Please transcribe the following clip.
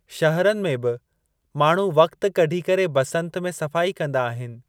शहरनि में बि, माण्‍हू वक़्तु कढी करे बसंत में सफाई कंदा आहिनि।